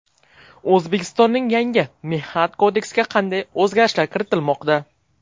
O‘zbekistonning yangi Mehnat kodeksiga qanday o‘zgarishlar kiritilmoqda?